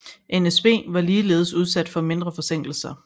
NSB var ligeledes udsat for mindre forsinkelser